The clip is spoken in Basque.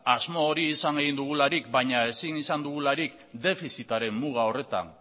asmo hori izan dugularik baina ezin izan dugularik defizitaren muga horretan